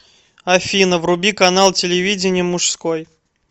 афина вруби канал телевидения мужской